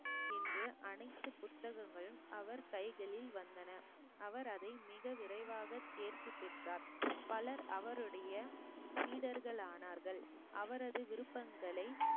என்று அனைத்து புத்தகங்களும் அவர் கைகளில் வந்தன அவர் அதை மிக விரைவாக தேர்ச்சி பெற்றோர் பலர் அவருடைய சீடர்கள் ஆனார்கள் அவரது விருப்பங்களை